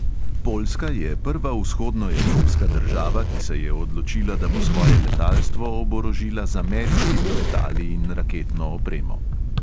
Poljska je prva vzhodnoevropska država, ki se je odločila, da bo svoje letalstvo oborožila z ameriškimi letali in raketno opremo.